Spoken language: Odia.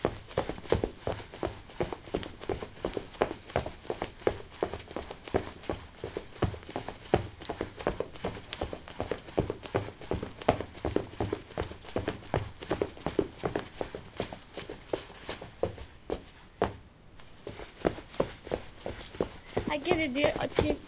ଆଜ୍ଞା ଦିଦି ଅଛି